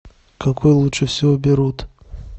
какой лучше всего берут